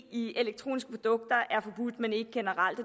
i elektroniske produkter er forbudt men ikke generelt